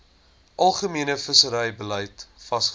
algemene visserybeleid vasgestel